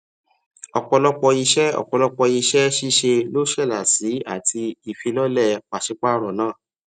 ọpọlọpọ iṣẹ ọpọlọpọ iṣẹ ṣiṣe lo ṣẹlá sí àtì ìfilọlẹ pasipaaro náà